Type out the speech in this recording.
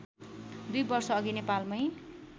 दुई वर्षअघि नैपालमै